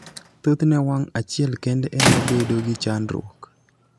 thothne wang' achiel kende emabedo gi chandruok